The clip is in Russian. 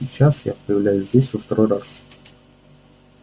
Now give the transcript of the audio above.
сейчас я появляюсь здесь во второй раз